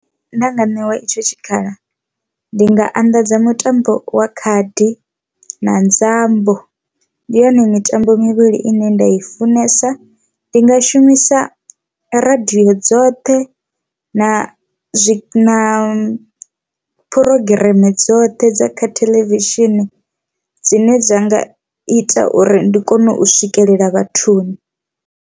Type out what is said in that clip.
Nda nga ṋewa itsho tshikhala ndi nga anḓadza mutambo wa khadi na nzambo ndi yone mitambo mivhili ine nda i funesa, ndi nga shumisa radio dzoṱhe na zwi na phurogireme dzoṱhe dza kha theḽevishini dzine dza nga ita uri ndi kone u swikelela vhathuni.